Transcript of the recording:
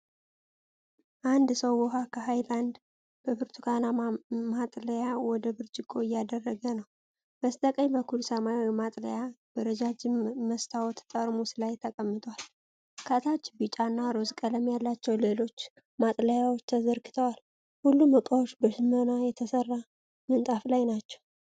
አንድ ሰው ውሃ ከሃይላንድ በብርቱካናማ ማጥለያ ወደ ብርጭቆ እያደረገ ነው። በስተቀኝ በኩል ሰማያዊ ማጥለያ በረጃጅም መስታወት ጠርሙስ ላይ ተቀምጧል። ከታች ቢጫ እና ሮዝ ቀለም ያላቸው ሌሎች ማጥለያዎች ተዘርግተዋል። ሁሉም ዕቃዎች በሽመና በተሠራ ምንጣፍ ላይ ናቸው።